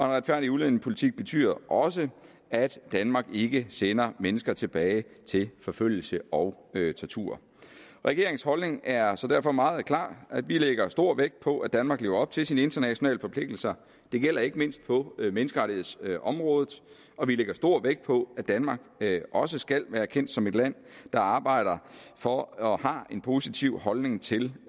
retfærdig udlændingepolitik betyder også at danmark ikke sender mennesker tilbage til forfølgelse og tortur regeringens holdning er derfor meget klar vi lægger stor vægt på at danmark lever op til sine internationale forpligtelser det gælder ikke mindst på menneskerettighedsområdet og vi lægger stor vægt på at danmark også skal være kendt som et land der arbejder for og har en positiv holdning til